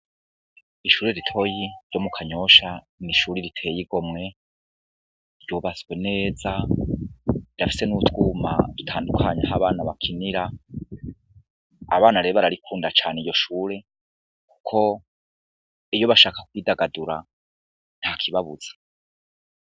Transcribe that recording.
Ishuri ritoya ryo mu kanyosha n'ishure riteye igomwe ryubatswe neza rirafise n'utwuma dutandukanya aho abana bakinira, abana rero bararikunda cane iryo shuri kuko iyo bashaka kwidagadura ntakibabuza.